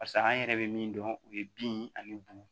Barisa an yɛrɛ bɛ min dɔn o ye bin ani bu